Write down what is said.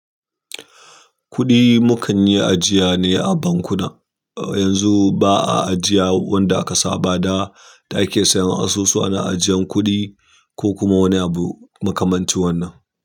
Kuɗi mukan yi ajiya ne a bankuna. Yanzu ba a ajiya wanda aka saba da ake sayan asusu ana ajiyan kuɗi ko kuma wani abu makamanci wannan.